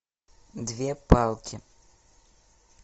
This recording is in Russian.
две палки